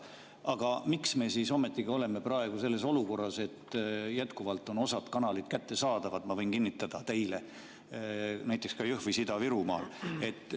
Aga miks me siis ometigi oleme praegu selles olukorras, et jätkuvalt on osa kanaleid kättesaadavad, ma võin kinnitada teile, näiteks ka Jõhvis ja mujal Ida-Virumaal?